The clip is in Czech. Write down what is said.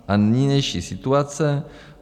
A nynější situace?